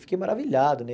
Fiquei maravilhado, né?